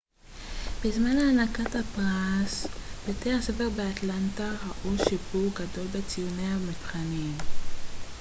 בזמן הענקת הפרס בתי הספר באטלנטה ראו שיפור גדול בציוני המבחנים